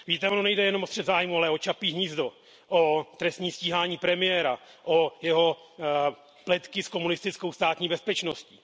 Víte, ono nejde jenom o střet zájmů, ale o Čapí hnízdo, o trestní stíhání premiéra, o jeho pletky s komunistickou státní bezpečností.